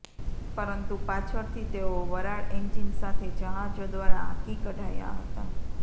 પરંતુ પાછળથી તેઓ વરાળ એન્જિન સાથે જહાજો દ્વારા હાંકી કઢાયા હતા